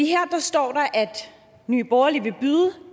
her står der at nye borgerlige vil byde